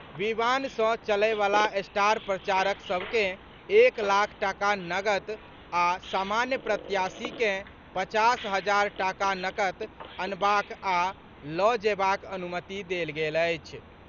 विमान सँ चलयवला स्टार प्रचारक सभकेँ एक लाख टाका नकद आ सामान्य प्रत्याशीकेँ पचास हजार टाका नकद अनबाक आ लऽ जयबाक अनुमति देल गेल अछि।